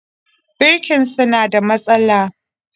Birkinsa na da matsala